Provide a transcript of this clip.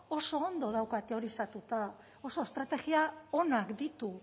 oso ondo dauka teorizatuta oso estrategia onak ditu